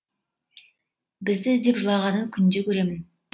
бізді іздеп жылағанын күнде көремін